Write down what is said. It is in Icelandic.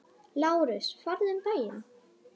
LÁRUS: Farðu um bæinn!